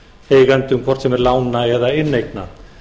eigendum hvort sem þeir lána eða inneigna